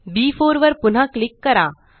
B4 वर पुन्हा click करा